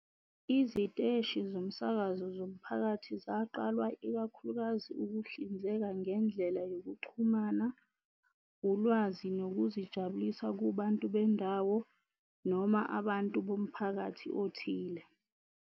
Iziteshi zomsakazo zomphakathi zaqalwa ikakhulukazi ukuhlinzeka ngendlela yokuxhumana, ulwazi nokuzijabulisa kubantu bendawo, noma abantu bomphakathi othile.